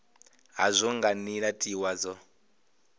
hazwo nga nila tiwa dza